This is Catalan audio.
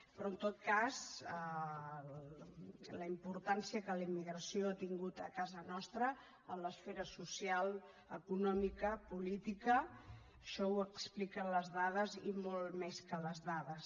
però en tot cas la importància que la immigració ha tingut a casa nostra en l’esfera social econòmica política això ho expliquen les dades i molt més que les dades